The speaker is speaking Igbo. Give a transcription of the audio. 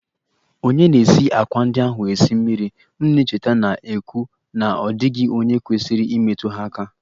Ònye na-esi àkwá ndị ahụ esi mmiri? M na-echeta na-ekwu na ọ dịghị onye kwesịrị imetụ ha aka